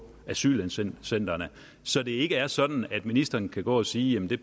asylcentrene så det ikke er sådan at ministeren kan gå og sige at det